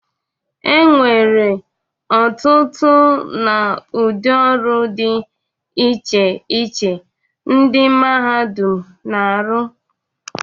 E nwere ọtụtụ na udị ọrụ dị iche iche ndị mmadụ na-arọ.